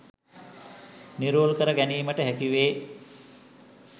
නිරවුල් කර ගැනීමට හැකි වේ.